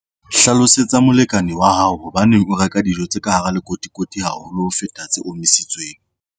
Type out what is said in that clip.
Hlalosetsa molekane wa hao hobaneng o reka dijo tse ka hara lekotikoti haholo ho feta tse omisitsweng.